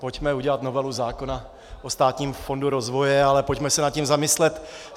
Pojďme udělat novelu zákona o Státním fondu rozvoje, ale pojďme se nad tím zamyslet.